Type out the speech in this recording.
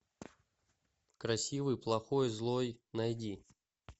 красивый плохой злой найди